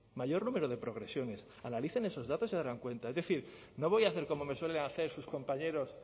mayor número de progresiones analicen esos datos y se darán cuenta es decir no voy a hacer como me suelen hacer sus compañeros